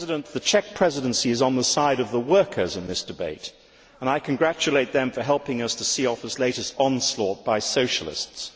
The Czech Presidency is on the side of the workers in this debate, and I congratulate it for helping us to see off this latest onslaught by Socialists.